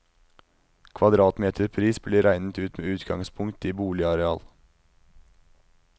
Kvadratmeterpris blir regnet ut med utgangspunkt i boligareal.